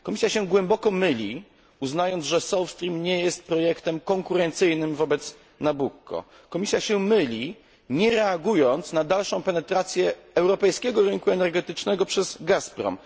Komisja się głęboko myli uznając, że South Stream nie jest projektem konkurencyjnym wobec Nabucco. Komisja myli się, nie reagując na dalszą penetrację europejskiego rynku energetycznego przez Gazprom.